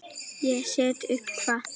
Ég set upp hvað?